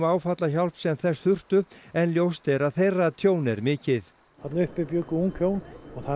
áfallahjálp sem þess þurftu en ljóst er að þeirra tjón er mikið þarna uppi bjuggu ung hjón og það er